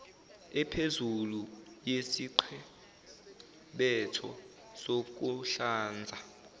ephezulu yesiqebetho sokuhlanza